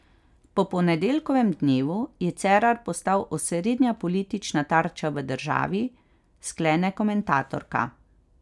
Po ponedeljkovem dnevu je Cerar postal osrednja politična tarča v državi, sklene komentatorka.